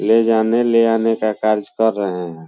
ले जाने ले आने का कार्य कर रहें हैं।